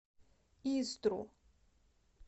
истру